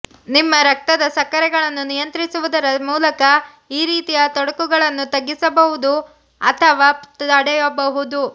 ನಿಮ್ಮ ರಕ್ತದ ಸಕ್ಕರೆಗಳನ್ನು ನಿಯಂತ್ರಿಸುವುದರ ಮೂಲಕ ಈ ರೀತಿಯ ತೊಡಕುಗಳನ್ನು ತಗ್ಗಿಸಬಹುದು ಅಥವಾ ತಡೆಯಬಹುದು